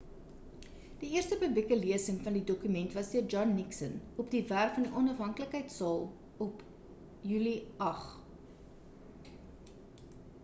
die eerste publieke lesing van die dokument was deur john nixon op die werf van die onafhanklikheidsaal op july 8